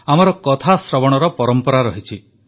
ଆମର କଥାଶ୍ରବଣର ପରମ୍ପରା ରହିଛି